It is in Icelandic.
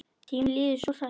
Tíminn líður svo hratt!